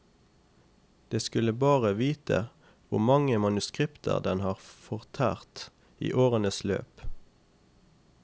De skulle bare vite hvor mange manuskripter den har fortært i årenes løp.